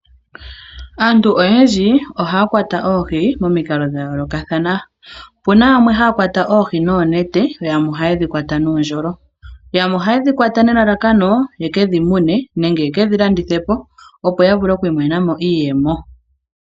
Aantu oyendji ohaya kwata oohi momikalo dha yoolokathana, opu na yamwe haya kwata oohi noonete yo yamwe ohaye dhi kwata nuundjolo, yamwe ohaye dhi kwata nelalakano yeke dhi mune nenge yeke dhi landithe po, opo ya vule oku imonena mo iiyemo.